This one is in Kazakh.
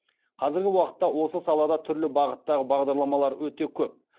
қазіргі уақытта осы салада түрлі бағыттағы бағдарламалар өте көп